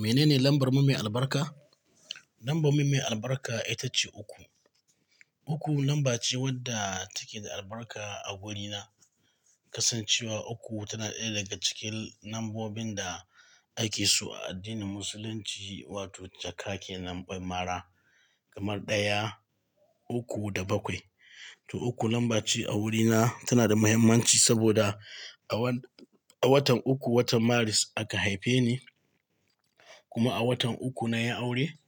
Menene lambar mu mai albarka? Lambar mu mai albarka ita ce uku. Uku lamba ce wadda take da albarka a wurina, kasancewa uku tana ɗaya daga cikin lambobin da ake so a addinin musulunci wato jaka ke lambar mara, kamar ɗaya, uku da bakwai. To uku lamba ce a wurina tana da mahimmanci saboda a wan-- a watan uku, watan Maris aka haife ni, kuma a watan uku na yi aure,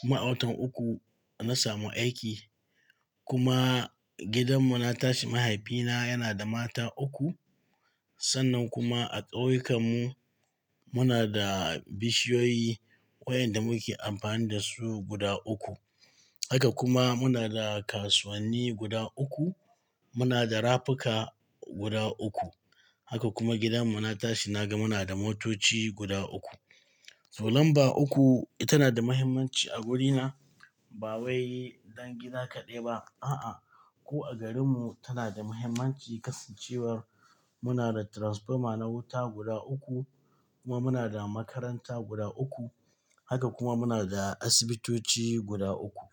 kuma a watan uku na samu aiki, kuma gidan mu na tashi mahaifina yana da mata uku. Sannan kuma a ƙauyukan mu muna da bishiyoyi waɗanda muke amfani da su guda uku. Haka kuma muna da kasuwanni guda uku, muna da rafuka guda uku. Haka kuma gidan mu na tashi naga muna da motoci guda uku. To lamba uku tana da mahimmanci a wurina ba wai dangina kaɗai ba, a'a. Ko a garin mu tana da mahimmanci kasancewar muna da transformer na wuta guda uku, kuma muna da makaranta guda uku, haka kuma muna da asibitoci guda uku.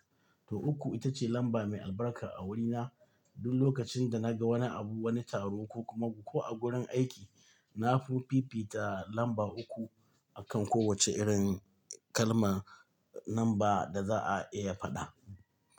To uku ita ce lamba mai albarka a wurina. Duk lokacin da naga wani abu wani taro ko kuma a gurin aiki nafi fifita lamba uku akan kowace irin kalma lamba da za'a iya faɗa.